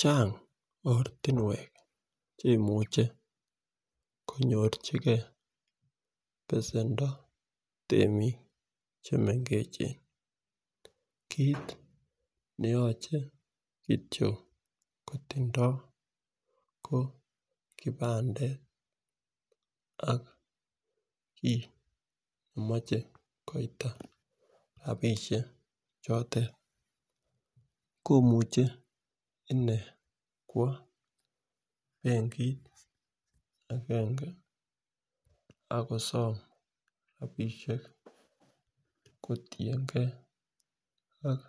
Chang ortinwek cheimuch konyochigee besendo temik chemengech kit neyoche kityok kotindo ko kipandet ak kii nemoche koita rabishek chotet komuche inee kwo benkit agenge ak kosom rabishek kotiyengee ak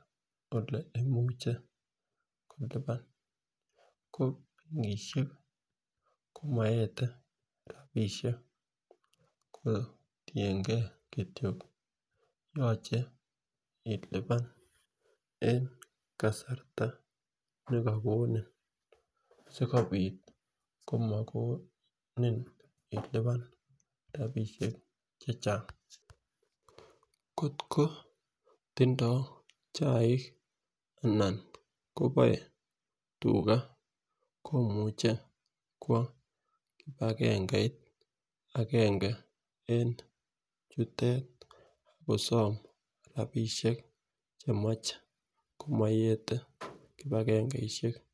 ole imuche kilipan ko nkishe komoete rabishek kotiyengee kityok yoche ilipan en kasarta nekokonin sikopit komokonin ilipan rabishek chechang. Kotko tindo chaik anan koboe tugaa komuche kwo kipagengeit agenge en chutet ak kosom rabishek chemoche komoyete kipagengeishek.